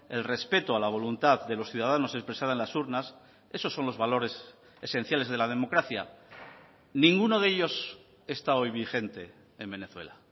el respeto a la voluntad de los ciudadanos expresada en las urnas esos son los valores esenciales de la democracia ninguno de ellos está hoy vigente en venezuela